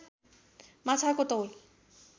माछाको तौल